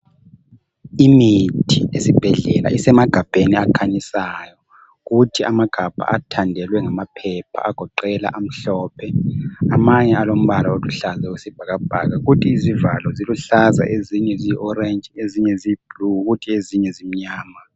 Imithi esibhedlela isemagabheni akhanyisayo kuthi amagabha athandelwe ngamaphepha agoqela amhlophe. Amanye alombala oluhlaza oyisibhakabhaka kodwa isivalo eziluhlaza ezinye ziyi orange ezinye ziyiblue kuthi ezinye zimnyama.